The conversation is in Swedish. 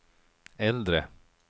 äldre